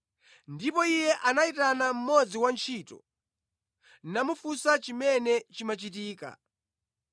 Ndipo iye anayitana mmodzi wa antchito, namufunsa chimene chimachitika.